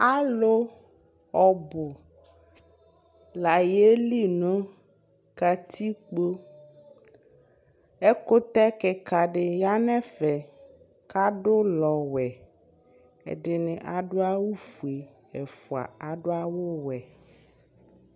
alo ɔbo la yeli no katikpo ɛkotɛ keka di ya no ɛfɛ ko ado ulɔ wɛ ɛdini ado awu fue ɛfua ado awu wɛ